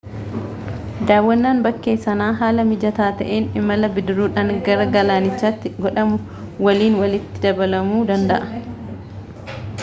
daawwannaan bakkee sanaa haala mijataa ta'een imala bidiruudhaan gara galaanichaatti godhamu waliin walitti dabalamuu danda'a